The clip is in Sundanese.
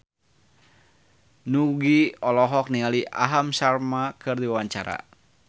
Nugie olohok ningali Aham Sharma keur diwawancara